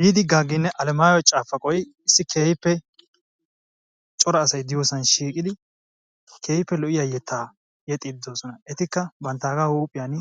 Diidi Gaaginne alamayyo caafaqoy issi keehippe cora asay diyoosan shiiqidi keehippe lo''iyaa yetta yeexxide doosona. Etikka banttaaga huuphiyan